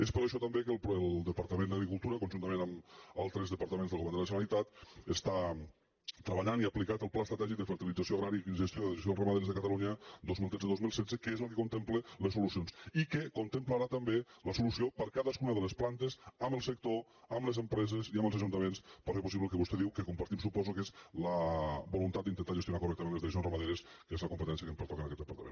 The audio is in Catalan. és per això també que el departament d’agricultura conjuntament amb altres departaments del govern de la generalitat està treballant i ha aplicat el pla estratègic de fertilització agrària i gestió de les dejeccions ramaderes de catalunya dos mil tretze dos mil setze que és el que con templa les solucions i que contemplarà també la solució per a cadascuna de les plantes amb el sector amb les empreses i amb els ajuntaments per fer possible el que vostè diu que compartim suposo que és la voluntat d’intentar gestionar correctament les dejeccions ramaderes que és la competència que em pertoca en aquest departament